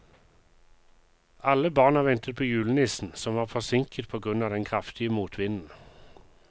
Alle barna ventet på julenissen, som var forsinket på grunn av den kraftige motvinden.